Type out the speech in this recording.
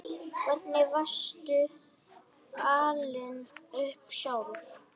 Hvernig varstu alin upp sjálf?